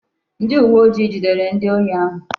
Ndi uwe ojii jidere ndi ohi ahu